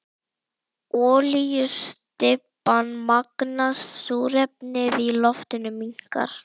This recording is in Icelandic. Olíustybban magnast, súrefnið í loftinu minnkar.